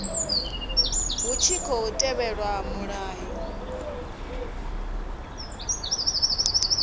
hu tshi khou tevhelwa mulayo